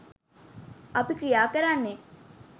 අපි ක්‍රියා කරන්නේ.